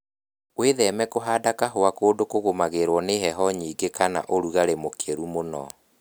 Wĩtheme kũhanda kahũa kũndu kũgũmagĩrwo nĩ heho nyingĩ kana ũrugarĩ mũkĩru mũno